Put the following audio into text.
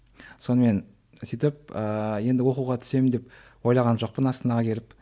сонымен сөйтіп ыыы енді оқуға түсемін деп ойлаған жоқпын астанаға келіп